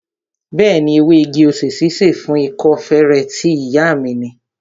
Bẹẹni, ewé igi-osè ṣíṣe fún ikọ́ feré tí ìyá mi ni